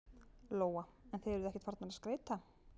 Lóa: En þið eruð ekkert farnar að skreyta?